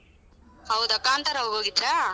ಹೌದಾ ಕಾಂತರಾಗ ಹೋಗಿದ್ರ?